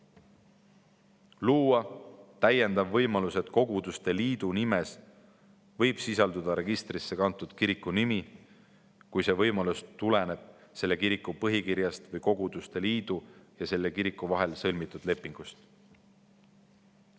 Luua täiendav võimalus, et koguduste liidu nimes võib sisalduda registrisse kantud kiriku nimi, kui see võimalus tuleneb selle kiriku põhikirjast või koguduste liidu ja selle kiriku vahel sõlmitud lepingust.